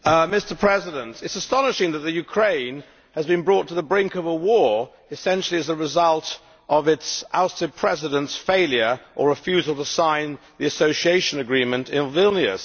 Mr President, it is astonishing that Ukraine has been brought to the brink of a war essentially as the result of its ousted President's failure, or refusal, to sign the Association Agreement in Vilnius.